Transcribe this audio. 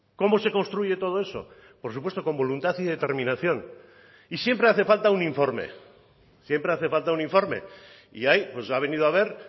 cómo se construye todo eso por supuesto con voluntad y determinación y siempre hace falta un informe siempre hace falta un informe y ahí ha venido a ver